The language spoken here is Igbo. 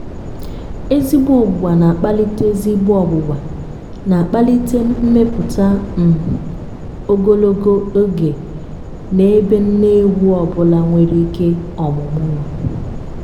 ezigbo ọgbụgba na-akpalite ezigbo ọgbụgba na-akpalite mmepụta um ogologo oge na-ebe nne ewu ọ bụla nwere ike ọmụmụ nọ.